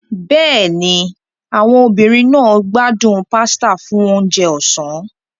Bẹ́ẹ̀ni, àwọn obìnrin náà gbádùn pasta fún oúnjẹ ọ̀sán.